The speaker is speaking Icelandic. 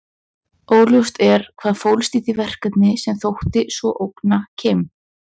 Óljóst er hvað fólst í því verkefni sem þótti svo ógna Kim.